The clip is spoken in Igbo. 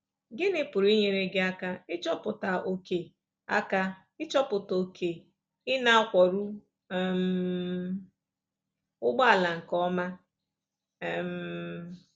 Gịnị pụrụ inyere gị aka ịchọpụta ókè aka ịchọpụta ókè ị na-akwọru um ụgbọala nke ọma? um